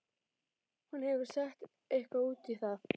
Hún hefur kannski sett eitthvað út í það.